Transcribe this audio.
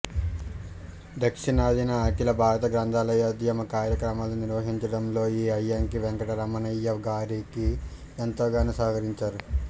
దక్షిణాదిన అఖిల భారత గ్రంథాలయోధ్యమ కార్య క్రమాలు నిర్వహించడంలోఈ అయ్యంకి వెంకటరమణయ్య వారికి ఎంతగానో సహకరించారు